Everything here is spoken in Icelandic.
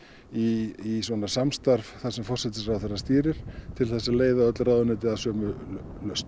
í samstarf sem forsætisráðuneytið stýrir til þess að leiða öll ráðuneyti að sömu lausn